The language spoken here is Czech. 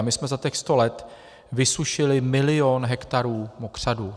A my jsme za těch sto let vysušili milion hektarů mokřadů.